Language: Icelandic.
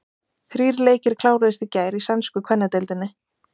Þrír leikir kláruðust í gær í sænsku kvennadeildinni.